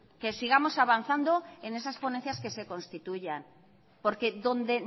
que sigamos avanzando en esas ponencias que se constituyan porque donde